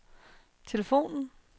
telefonen